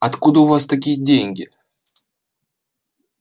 откуда у вас такие деньги